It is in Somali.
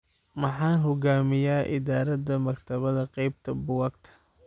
Maxan hogamiya idarada maktabada keybta buukakta.